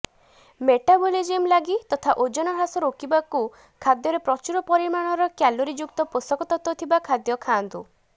metabolism ଲାଗି ତଥା ଓଜନ ହ୍ରାସ ରୋକିବାକୁ ଖାଦ୍ୟରେ ପ୍ରଚୁର ପରିମାଣରେ କ୍ୟାଲୋରୀଯୁକ୍ତ ପୋଷକତତ୍ୱ ଥିବା ଖାଦ୍ୟ ଖାଆନ୍ତୁ